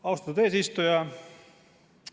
Austatud eesistuja!